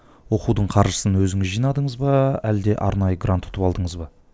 оқудың қаржысын өзіңіз жинадыңыз ба әлде арнайы грант ұтып алдыңыз ба